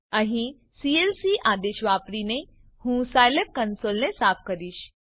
અહીં સીએલસી આદેશ વાપરીને હું સાયલેબ કંસોલને સાફ કરીશ